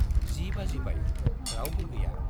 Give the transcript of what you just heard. जि बाजिबाय, रावबो गैया।